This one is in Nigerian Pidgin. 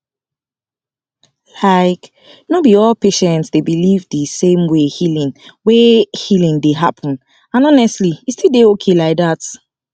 like no be all patients dey believe the same way healing way healing dey happen and honestly e still dey okay like that